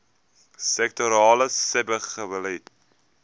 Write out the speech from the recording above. sektorale sebbeleid